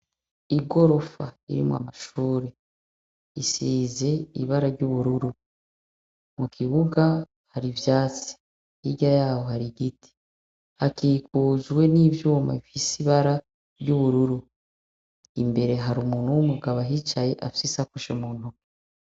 Igorofa ririmwo amashure risize ibara ry' ubururu mukibuga hari ivyatsi hirya yaho hari igiti hakikujwe n' ivyuma bifise ibara ry' ubururu imbere hari umuntu w' umugabo ahicaye afise isakoshi muntoke.